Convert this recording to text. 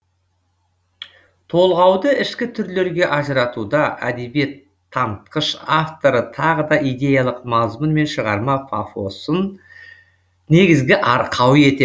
толғауды ішкі түрлерге ажыратуда әдебиет танытқыш авторы тағы да идеялық мазмұн мен шығарма пафосын негізгі арқау етеді